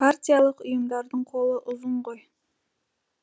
партиялық ұйымдардың қолы ұзын ғой